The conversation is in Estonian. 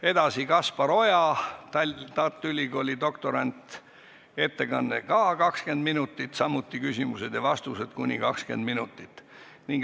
Edasi tuleb Kaspar Oja, Tartu Ülikooli doktorant, tema ettekanne on samuti 20 minutit ja küsimused-vastused kuni 20 minutit.